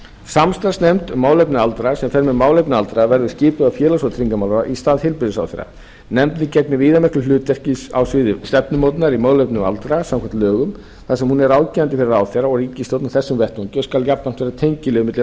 samstarfsnefnd um málefni aldraðra sem fer með málefni aldraðra verður skipuð af félags og tryggingamálaráðherra í stað heilbrigðisráðherra nefndin gegnir viðamiklu hlutverki á sviði stefnumótunar í málefnum aldraðra samkvæmt lögum þar sem hún er ráðgefandi fyrir ráðherra og ríkisstjórn á þessum vettvangi og skal jafnframt vera tengiliður milli